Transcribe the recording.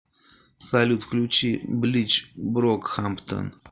салют включи блич брокхамптон